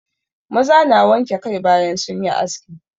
Maza na wanke kai bayan sun yi aski.